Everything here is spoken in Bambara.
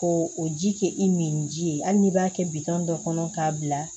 Ko o ji kɛ i min ji ye hali n'i b'a kɛ bitɔn dɔ kɔnɔ k'a bila